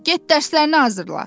Get dərslərini hazırla.